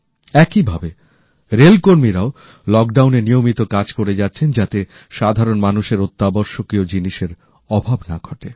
একইভাবে রেল কর্মীরাও লকডাউনে নিয়মিত কাজ করে যাচ্ছেন যাতে সাধারণ মানুষের অত্যাবশকীয় জিনিসের অভাব না ঘটে